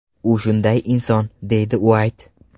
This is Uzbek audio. U shunday inson”, deydi Uayt.